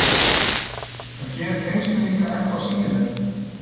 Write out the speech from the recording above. Það gerir tengslin líka ennþá sýnilegri.